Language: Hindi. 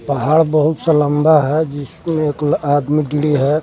पहाड़ बहुत सा लंबा है जिसमें एक ल आदमी के लिए है।